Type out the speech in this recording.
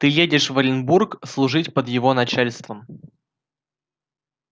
ты едешь в оренбург служить под его начальством